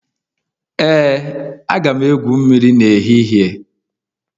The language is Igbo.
Ee, aga m egwu mmiri n'ehihie